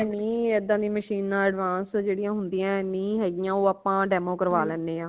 ਨੀ ਇਦਾ ਦੀਆ machine advance ਜੇੜੀਆਂ ਹੁੰਦੀਆਂ ਨਈ ਹੈਗੀਆਂ ਓ ਆਪਾ demo ਕਰਵਾ ਲੈਨੇ ਹਾਂ